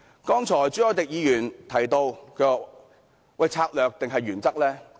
剛才，朱凱廸議員提到，究竟要策略還是原則？